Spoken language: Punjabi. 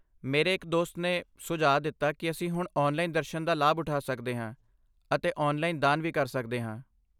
ਮੇਰੇ ਇੱਕ ਦੋਸਤ ਨੇ ਸੁਝਾਅ ਦਿੱਤਾ ਕਿ ਅਸੀਂ ਹੁਣ ਔਨਲਾਈਨ ਦਰਸ਼ਨ ਦਾ ਲਾਭ ਉਠਾ ਸਕਦੇ ਹਾਂ ਅਤੇ ਔਨਲਾਈਨ ਦਾਨ ਵੀ ਕਰ ਸਕਦੇ ਹਾਂ।